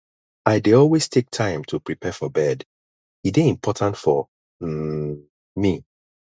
i dey always take time to prepare for bed e dey important for um me